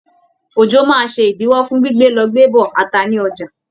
Òjò máa ṣe ìdíwọ́ fún gbígbé lọ gbé bọ̀ ata ní ọjà.